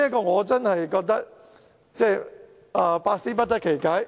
我真是百思不得其解。